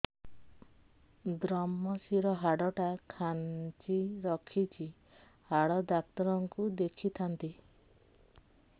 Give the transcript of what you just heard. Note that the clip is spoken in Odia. ଵ୍ରମଶିର ହାଡ଼ ଟା ଖାନ୍ଚି ରଖିଛି ହାଡ଼ ଡାକ୍ତର କୁ ଦେଖିଥାନ୍ତି